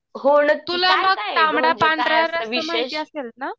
हो न तू म्हणजे काय असं विशेष?